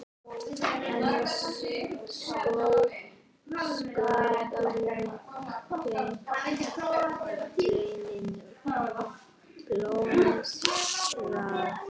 Helga: En sköpunargleðin blómstrar?